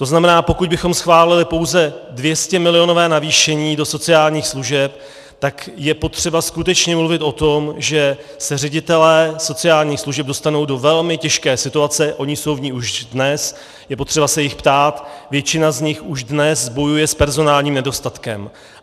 To znamená, pokud bychom schválili pouze 200milionové navýšení do sociálních služeb, tak je potřeba skutečně mluvit o tom, že se ředitelé sociálních služeb dostanou do velmi těžké situace - oni jsou v ní už dnes, je potřeba se jich ptát, většina z nich už dnes bojuje s personálním nedostatkem.